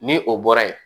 Ni o bɔra yen